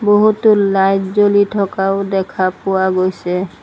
বহুতো লাইট জ্বলি থকাও দেখা পোৱা গৈছে।